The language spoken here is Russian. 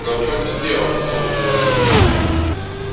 но в чём тут дело в толк не возьму